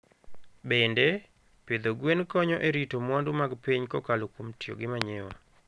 Bende, pidho gwen konyo e rito mwandu mag piny kokalo kuom tiyo gi manyiwa.